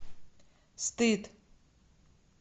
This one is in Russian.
стыд